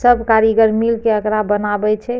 सब कारीगर मिलके एकरा बनावे छै।